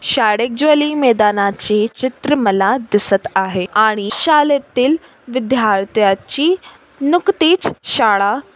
शाळेजवळील मैदानाची चित्र मला दिसत आहे आणि शाळेतील विद्यार्थ्याची नुकतीच शाळा --